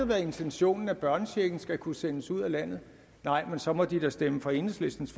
været intentionen at børnechecken skal kunne sendes ud af landet nej men så må de da stemme for enhedslistens